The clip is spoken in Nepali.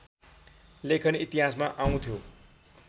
लेखन इतिहासमा आउँथ्यो